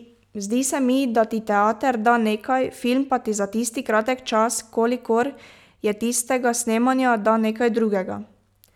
Zdi se mi, da ti teater da nekaj, film pa ti za tisti kratek čas, kolikor je tistega snemanja, da nekaj drugega.